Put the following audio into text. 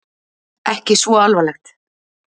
Ekki svo alvarlegt?